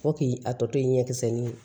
Fo k'i a tɔ to ɲɛkisɛ ni